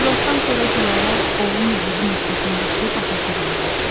İclasdan sonra Gülarə, oğlu Nihadı məktəbdən götürüb atasıgilə getdi.